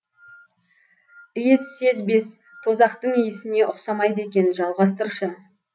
иіссезбес тозақтың иісіне ұқсамайды екен жалғастыршы